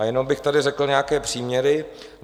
A jenom bych tady řekl nějaké příměry.